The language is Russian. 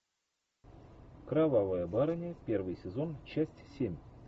кровавая барыня первый сезон часть семь